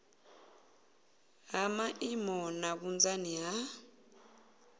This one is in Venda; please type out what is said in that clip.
ha maimo na vhunzani ha